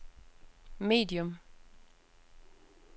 medium